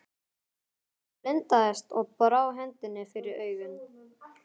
Hann blindaðist og brá hendinni fyrir augun.